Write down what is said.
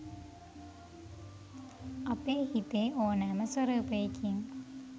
අපේ හිතේ ඕනෑම ස්වරූපයකින්